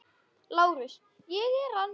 LÁRUS: Ég er hann.